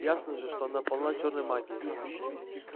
ясно же что она полна чёрной магии